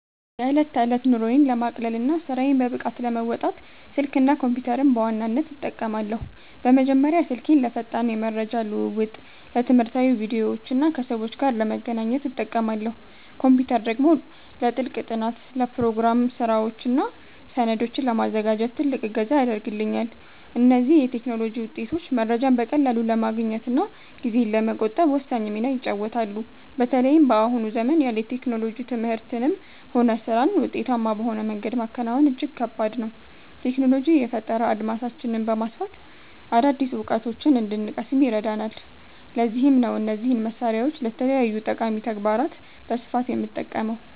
የዕለት ተዕለት ኑሮዬን ለማቅለልና ስራዬን በብቃት ለመወጣት፣ ስልክና ኮምፒተርን በዋናነት እጠቀማለሁ። በመጀመሪያ ስልኬን ለፈጣን የመረጃ ልውውጥ፣ ለትምህርታዊ ቪዲዮዎችና ከሰዎች ጋር ለመገናኛነት እጠቀማለሁ። ኮምፒተር ደግሞ ለጥልቅ ጥናት፣ ለፕሮግራም ስራዎችና ሰነዶችን ለማዘጋጀት ትልቅ እገዛ ያደርግልኛል። እነዚህ የቴክኖሎጂ ውጤቶች መረጃን በቀላሉ ለማግኘትና ጊዜን ለመቆጠብ ወሳኝ ሚና ይጫወታሉ። በተለይም በአሁኑ ዘመን ያለ ቴክኖሎጂ ትምህርትንም ሆነ ስራን ውጤታማ በሆነ መንገድ ማከናወን እጅግ ከባድ ነው። ቴክኖሎጂ የፈጠራ አድማሳችንን በማስፋት አዳዲስ እውቀቶችን እንድንቀስም ይረዳናል፤ ለዚህም ነው እነዚህን መሳሪያዎች ለተለያዩ ጠቃሚ ተግባራት በስፋት የምጠቀመው።